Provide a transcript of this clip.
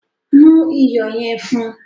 Mu iyọ̀ yẹn fún.